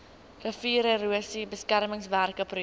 riviererosie beskermingswerke projek